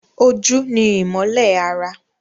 Ojú ni ìmọ́lẹ̀ ara